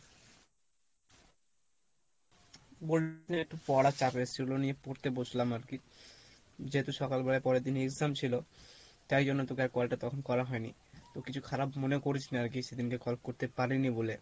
একটু পড়ার চাপ এসছিলো নিয়ে পড়তে বসলাম আরকি, যেহেতু সকালবেলাই পরের দিনে exam ছিলো তাই জন্য তোকে আর call টা তখন করে হয়নি, তো কিছু খারাপ মনে করিস না আরকি সেদিনকে call করতে পারিনি বলে,